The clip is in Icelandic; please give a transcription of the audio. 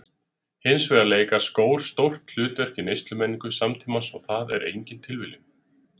Hins vegar leika skór stórt hlutverk í neyslumenningu samtímans og það er engin tilviljun.